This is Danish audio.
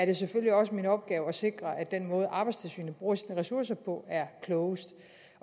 er selvfølgelig også min opgave at sikre at den måde arbejdstilsynet bruger ressourcer på er klogest